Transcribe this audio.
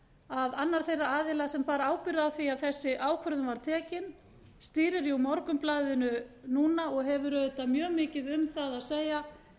að annar þeirra aðila sem var ábyrgð á því að þessi ákvörðun var tekin stýrir jú morgunblaðinu núna og hefur auðvitað mjög mikið um það að segja